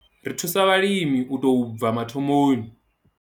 Ri thusa vhalimi u tou bva mathomoni.